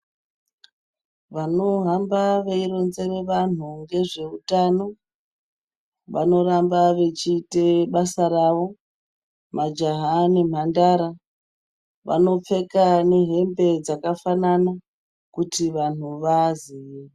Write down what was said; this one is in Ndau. Vanohamba veironzere vanhu ngezveutano vanoramba vechiite basa ravo. Majaha nemhandara vanopfeka nehembe dzakafanana kuti vanhu vaaziye.